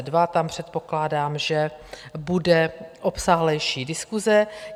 Tam předpokládám, že bude obsáhlejší diskuse.